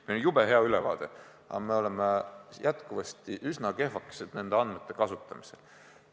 Meil on jube hea ülevaade, aga me oleme jätkuvasti üsna kehvakesed nende andmete kasutamisel.